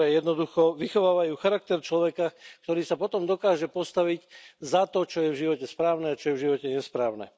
ktoré jednoducho vychovávajú charakter človeka, ktorý sa potom dokáže postaviť za to, čo je v živote správne a čo je v živote nesprávne.